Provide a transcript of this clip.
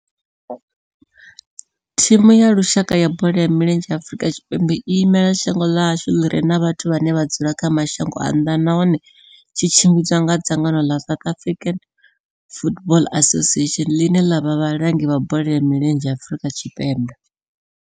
Thimu ya lushaka ya bola ya milenzhe ya Afrika Tshipembe i imela shango ḽa hashu ḽi re na vhathu vhane vha dzula kha mashango a nnḓa nahone tshi tshimbidzwa nga dzangano la South African Football Association, line la vha vhalangi vha bola ya milenzhe Afrika Tshipembe.